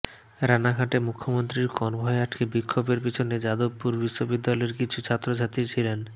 রানাঘাটে মুখ্যমন্ত্রীর কনভয় আটকে বিক্ষোভের পিছনে যাদবপুর বিশ্ববিদ্যালয়ের কিছু ছাত্রছাত্রী ছিলেন